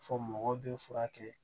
Fɔ mɔgɔ bɛ furakɛ